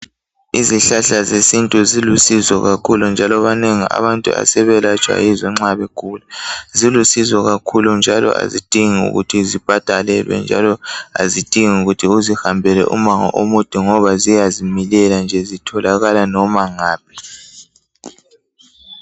Izihlahla zesintu zilusizo kakhulu njalo abanengi abantu asebelatshwa yizo nxa begula silusizo kakhulu njalo azidingi ukuthi zibhadalelwe njalo azidingi ukuthi uzihambele umango omude ngoba ziyazimilela nje zitholakala noma ngaphi.